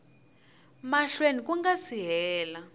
mahlweni ku nga si hela